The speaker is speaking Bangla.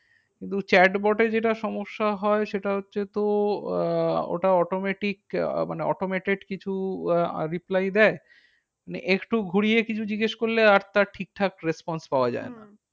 কিন্তু chat bot এ যেটা সমস্যা হয় সেটা হচ্ছে তো আহ ওটা automatic আহ মানে automated কিছু আহ reply দেয়। মানে একটু ঘুরিয়ে কিছু জিজ্ঞেস করলে আর তার ঠিকঠাক response পাওয়া যায় না। হম